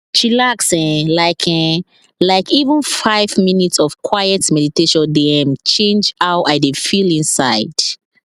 chilax um like um like even five minutes of quiet meditation dey um change how i dey feel inside